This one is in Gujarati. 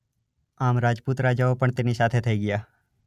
આમ રાજપૂત રાજાઓ પણ તેની સાથે થઈ ગયા.